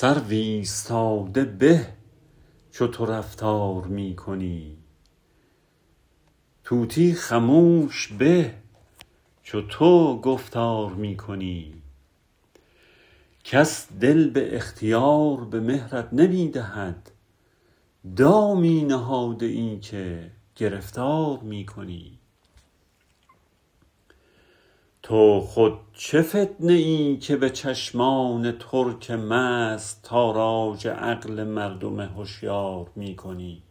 سرو ایستاده به چو تو رفتار می کنی طوطی خموش به چو تو گفتار می کنی کس دل به اختیار به مهرت نمی دهد دامی نهاده ای که گرفتار می کنی تو خود چه فتنه ای که به چشمان ترک مست تاراج عقل مردم هشیار می کنی